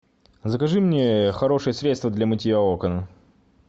закажи мне хорошее средство для мытья окон